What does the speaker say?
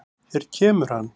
Hér kemur hann.